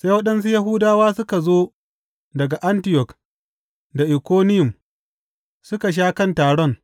Sai waɗansu Yahudawa suka zo daga Antiyok da Ikoniyum suka sha kan taron.